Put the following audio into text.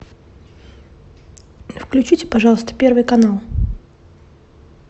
включите пожалуйста первый канал